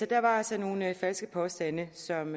der var altså nogle falske påstande som